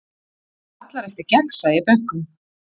Kallar eftir gegnsæi í bönkum